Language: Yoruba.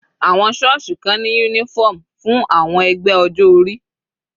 Àwọn sọ́ọ̀sì kan ní uniform fún àwọn ẹgbẹ́ ọjọ́ orí.